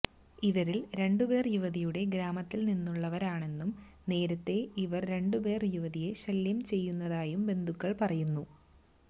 ഇവരിൽ രണ്ടുപേർ യുവതിയുടെ ഗ്രാമത്തിൽനിന്നുള്ളവരാണെന്നും നേരത്തെ ഇവർ രണ്ടുപേരും യുവതിയെ ശല്ല്യം ചെയ്തിരുന്നതായും ബന്ധുക്കൾ പറയുന്നു